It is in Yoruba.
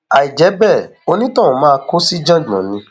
àìjẹ bẹẹ onítọhún máa kó síjàngbọn ni